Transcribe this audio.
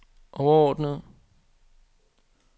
overordnede